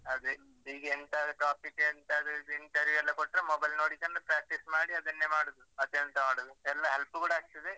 ಅದೆ. ಈಗ ಎಂತಾದ್ರು topic ಎಲ್ಲ ಎಂತಾದ್ರು interview ಎಲ್ಲ ಕೊಟ್ರೆ mobile ನೋಡಿಕೊಂಡು practice ಮಾಡಿ ಅದನ್ನೆ ಮಾಡುದು. ಮತ್ತೆ ಎಂತ ಮಾಡುದು, ಎಲ್ಲ help ಕೂಡಾ ಆಗ್ತದೆ.